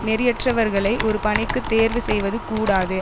நெறியற்றவர்களை ஒரு பணிக்கு தேர்வு செய்வது கூடாது